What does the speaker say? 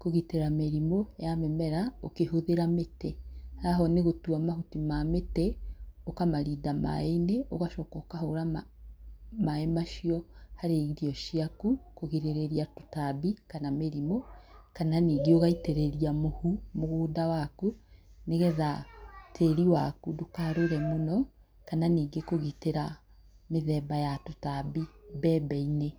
kũgitĩra mĩrimũ ya mĩmera ũkĩhũthĩra mĩtĩ. Haha ũũ nĩgũtua mahuti ma mĩtĩ ũkamarinda maĩ-inĩ ũgacoka ũkahũra maĩ macio harĩ irio ciaku, kũgirĩrĩria tũtambi kana mĩrimũ, kana ningĩ ũgaitĩrĩria mũhu mũgũnda waku nĩ getha tĩri waku ndũkarũre mũno kana ningĩ kũgitĩra mĩthemba ya tũtambi mbembe-inĩ.